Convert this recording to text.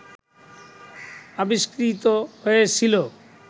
আবিষ্কৃত হয়েছিল